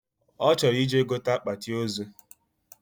Ochoro ije gote akpati ozuu